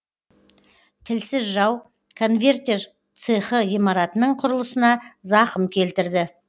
тілсіз жау конвертер цехы ғимаратының құрылысына зақым келтірді